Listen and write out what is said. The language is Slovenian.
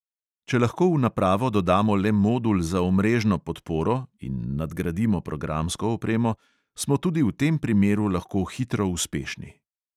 Če lahko v napravo dodamo le modul za omrežno podporo (in nadgradimo programsko opremo), smo tudi v tem primeru lahko hitro uspešni.